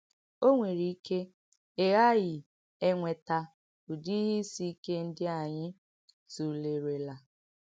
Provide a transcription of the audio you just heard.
Ọ nwèrè ìké ị ghààghì ènwètà ùdì ìhé ìsì ìkè ndí ányị tùlèrèlà.